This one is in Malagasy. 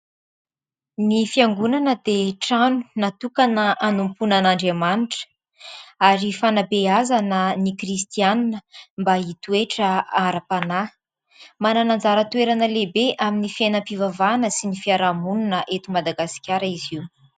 Ny fiangonana dia trano natokana hanompoana an'Andriamanitra ary fanabeazana ny kristiana mba hitoetra ara-panahy. Manana anjara toerana lehibe amin'ny fiainam-pivavahana sy ny fiarahamonina eto Madagasikara izy io.